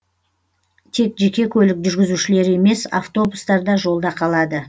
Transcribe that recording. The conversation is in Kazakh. тек жеке көлік жүргізушілері емес автобустар да жолда қалады